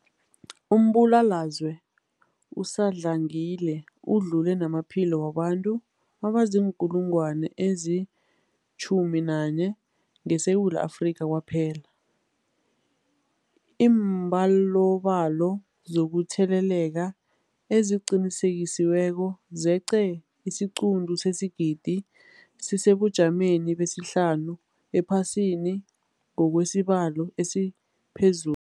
Umbulalazwe usadlangile udlule namaphilo wabantu abaziinkulungwana ezi-11 ngeSewula Afrika kwaphela. Iimbalobalo zokutheleleka eziqinisekisiweko zeqe isiquntu sesigidi, sisesebujameni besihlanu ephasini ngokwesibalo esiphezu